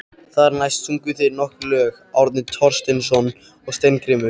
Þar næst sungu þeir nokkur lög, Árni Thorsteinsson og Steingrímur